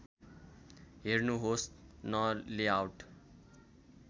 हेर्नुहोस् न लेआउट